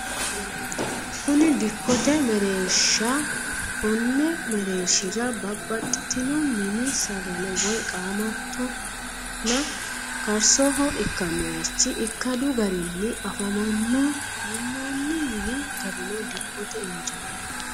Kuni dikkote mereershaai konni mereershira babbaxitino mini sagale woy qaamatyonna karsoho ikkannorichi ikkadu garinni afamanno minnoonni mini garino dikkote injaanoho.